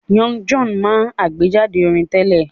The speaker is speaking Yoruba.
Young John máa àgbéjáde orin tẹ́lẹ̀